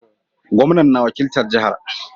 Gomnan na wakiltar jaha